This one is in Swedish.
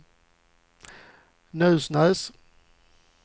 Nusnäs